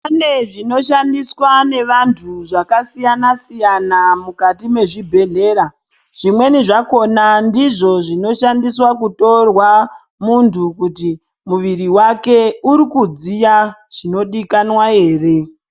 Kune zvinoshandiswa nevantu zvakasiyana siyana mukati mwezvibhedhlera zvimweni zvakhona ndizvo zvinoshandiswa kutorwa muntu kuti muviri wake uri kudziya zvinodikanwa ere.